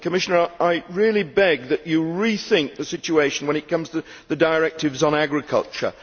Commissioner, I beg that you rethink the situation when it comes to the directives on agriculture.